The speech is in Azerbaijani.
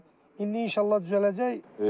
İndi inşallah düzələcək.